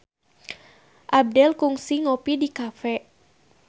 Abdel kungsi ngopi di cafe